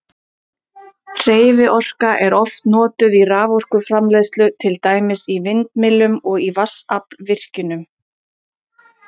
Hreyfiorka er oft notuð í raforkuframleiðslu, til dæmis í vindmyllum og í vatnsaflsvirkjunum.